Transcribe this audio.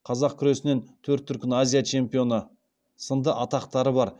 қазақ күресінен төрт дүркін азия чемпионы сынды атақтары бар